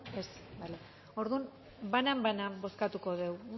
ez bale orduan banan banan bozkatuko dugu